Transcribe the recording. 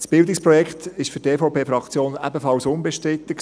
Das Bildungsprojekt war für die EVP-Fraktion ebenfalls unbestritten.